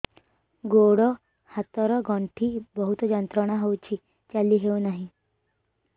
ଗୋଡ଼ ହାତ ର ଗଣ୍ଠି ବହୁତ ଯନ୍ତ୍ରଣା ହଉଛି ଚାଲି ହଉନାହିଁ